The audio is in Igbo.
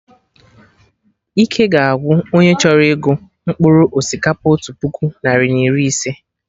Ike ga agwụ onye chọrọ ịgụ mkpụrụ osikapa otu puku, narị na iri ise